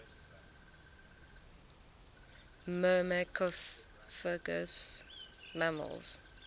myrmecophagous mammals